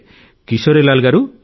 కిశోరీలాల్ గారూ